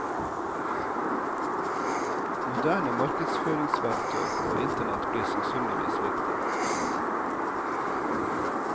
Moderne markedsføringsverktøy og internett blir sannsynligvis viktig.